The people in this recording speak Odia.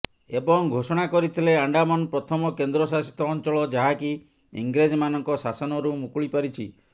ଏବଂ ଘୋଷଣା କରିଥିଲେ ଆଣ୍ଡାମାନ ପ୍ରଥମ କେନ୍ଦ୍ରଶାସିତ ଅଞ୍ଚଳ ଯାହାକି ଇଂରେଜମାନଙ୍କ ଶାସନରୁ ମୁକୁଳି ପାରିଛି